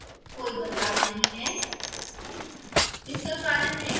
pdf file में कोई बदलाव नहीं हैं